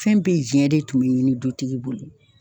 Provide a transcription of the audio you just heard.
Fɛn bɛɛ jɛn de tun be ɲini dutigi bolo.